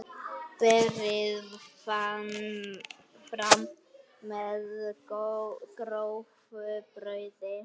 Berið fram með grófu brauði.